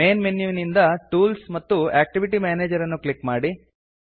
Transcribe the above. main ಮೆನುವಿನಿಂದ tools ಮತ್ತು activity manager ಅನ್ನು ಕ್ಲಿಕ್ ಮಾಡಿ